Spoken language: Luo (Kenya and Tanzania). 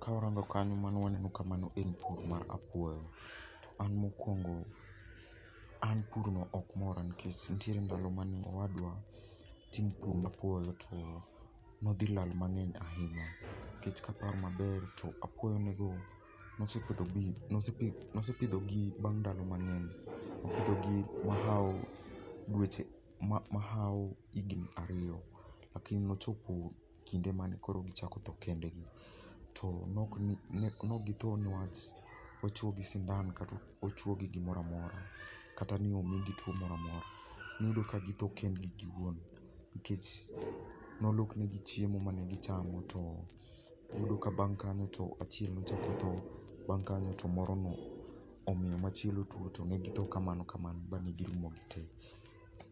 Kawarango kanyo mano waneno ka mano en pur mar apuoyo. To an mokuongo an pur no ok mora, nikech nitie ndalo mane owadwa timo pur apuoyo to nodhi lal mang'eny ahinya. Nikech ka aparo maber to apuoyo nego ne osepidhogi ne osepidhogi bang' ndalo mang'eny, nosepidhogi mahawo dweche mahawo higni ariyo. Lakini nochopo kinde mane gichako tho kendgi. To ne ok githo niwach ochuo gi sindan kata ni ochuogi gimoro amora kata ni omigi tuo moro amora. Iyudo ka githo kendgi giwuon nikech nolok nigi chiemo mane gichamo to iyudo ka bang' kanyo to achiel ochako tho, to machielo ochako omiyo morono omiyo machielo tuo. To ne githo kamano ma girumo tee.